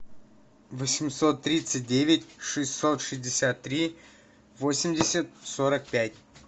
восемьсот тридцать девять шестьсот шестьдесят три восемьдесят сорок пять